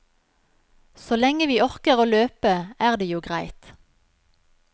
Så lenge vi orker å løpe, er det jo greit.